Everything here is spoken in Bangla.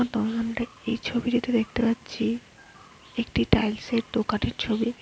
এই ছবিটাতে দেখতে পাচ্ছি একটি টাইলস -এর দোকানের ছবি।